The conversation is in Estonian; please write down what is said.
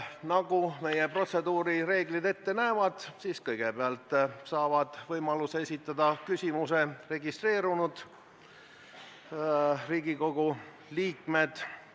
Nagu meie protseduurireeglid ette näevad, siis kõigepealt saavad võimaluse küsimus esitada registreerunud Riigikogu liikmed.